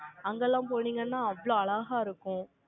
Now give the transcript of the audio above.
அங்கெல்லாம் போனீங்கன்னா, அவ்வளவு அழகா இருக்கும்